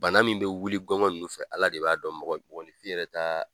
Bana min bɛ wuli gɔngɔn ninnu fɛ Ala de b'a dɔn mɔgɔ mɔgɔnifin yɛrɛ ta